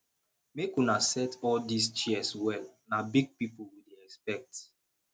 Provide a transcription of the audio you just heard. make una set all dis chairs well na big people we dey expect